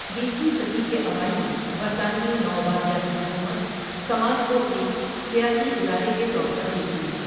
بیسویں صدی کے اوائل میں برطانوی نوآبادیاتی حکومت سماج کو ایک سیاسی ادارے کے طور پر دیکھتی تھی۔